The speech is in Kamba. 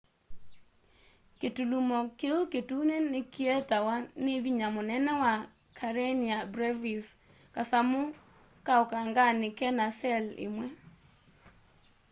kĩtũlũmo kĩũ kĩtũnĩ nĩkĩetawa nĩ vĩnya mũnene wa karenia brevis kasamũ ka ũkanganĩ kena cell ĩmwe